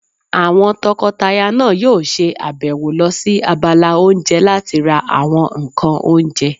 Àwọn tọkọtaya náà yóò ṣe àbẹ̀wò lọ sí abala oúnjẹ láti ra àwọn ǹkan oúnjẹ